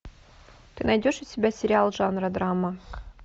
ты найдешь у себя сериал жанра драма